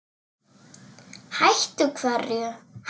Hætta hverju?